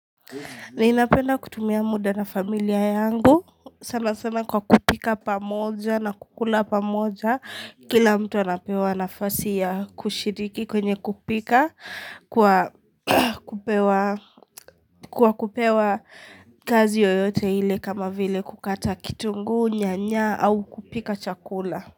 Ninapenda kutumia muda na familia yangu sana sana kwa kupika pamoja na kukula pamoja kila mtu anapewa nafasi ya kushiriki kwenye kupika kwa kupewa kazi yoyote hile kama vile kukata kitunguu nyanya au kupika chakula.